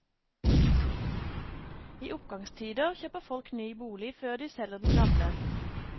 I oppgangstider kjøper folk ny bolig før de selger den gamle.